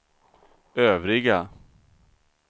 övriga